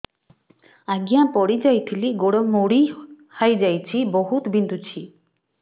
ଆଜ୍ଞା ପଡିଯାଇଥିଲି ଗୋଡ଼ ମୋଡ଼ି ହାଇଯାଇଛି ବହୁତ ବିନ୍ଧୁଛି